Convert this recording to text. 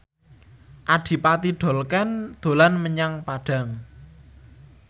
Adipati Dolken dolan menyang Padang